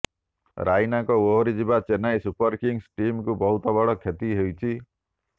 ରାଇନାଙ୍କ ଓହରିଯିବା Chennai super Kings ଟିମକୁ ବହୁତ ବଡ଼ କ୍ଷତି ହୋଇଛି